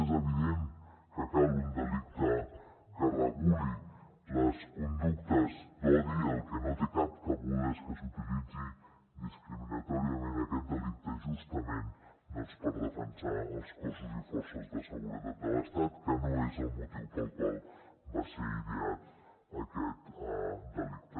és evident que cal un delicte que reguli les conductes d’odi el que no té cap cabuda és que s’utilitzi discriminatòriament aquest delicte justament per defensar els cossos i forces de seguretat de l’estat que no és el motiu pel qual va ser ideat aquest delicte